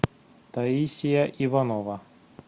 таисия иванова